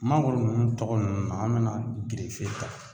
Mangoro nunnu tɔgɔ nunnu an be na gerefe ta